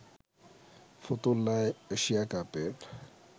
ফতুল্লায় Asia কাপের